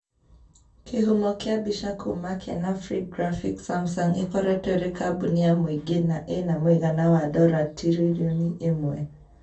kĩhumo kia mbica kuma kenafri graphics samsung ĩkoretwo ĩrĩ kambuni ya mũingĩ na ĩna mũigana wa dora tiririoni ĩmwe